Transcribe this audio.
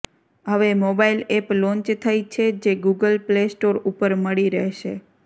હવે mobile app launch થઈ છે જે ગુગલ પ્લે સ્ટોર ઉપર મળી રહેશે